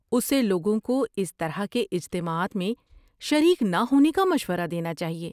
اسے لوگوں کو اس طرح کے اجتماعات میں شریک نہ ہونے کا مشورہ دینا چاہیے۔